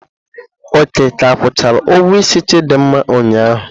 Oke ka akwụchara ugwuo isi Chidinma ụnyaahụ.